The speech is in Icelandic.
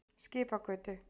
Skipagötu